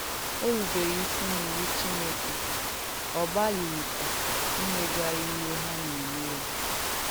Ò rùbèrè ìsì n’ìwù Chìnèkè, ọ gbàlìghìkwà ìmègwàrà ìhé hà na-emè ya.